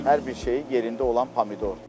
Hər bir şeyi yerində olan pomidordur.